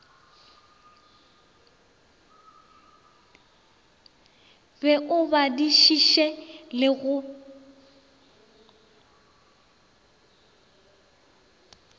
be o badišiše le go